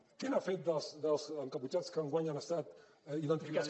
què n’ha fet dels encaputxats que enguany han estat identificats